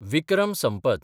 Vikram Sampath